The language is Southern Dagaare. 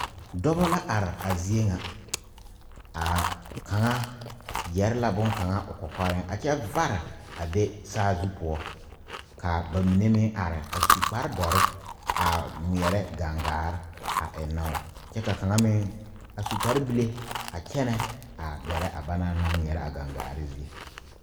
Dɔba la are a zie ŋa a kaŋa yɛre la bonkaŋa o kɔkɔreŋ a kyɛ vare a be saazu poɔ ka ba mine meŋ are a su kparedoɔre a ŋmeɛrɛ gangaare a eŋn,o kyɛ ka kaŋa meŋ su kparebile a kyɛnɛ a gɛrɛ a ba naŋ naŋ ŋmeɛrɛ a gangaare zie.